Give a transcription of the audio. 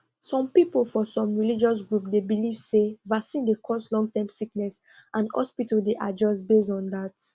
some people for some religious group dey believe say vaccine dey cause longterm sickness and hospitals dey adjust based on that